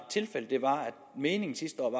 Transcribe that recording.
at meningen sidste år